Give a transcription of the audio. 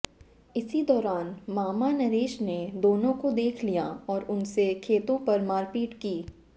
इसी दौरान मामा नरेश ने दोनों को देख लिया और उनसे खेतों पर मारपीट की